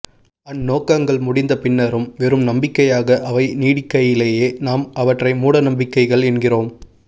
அந்நோக்கங்கள் முடிந்தபின்னரும் வெறும் நம்பிக்கையாக அவை நீடிக்கையிலேயே நாம் அவற்றை மூடநம்பிக்கைகள் என்கிறோம்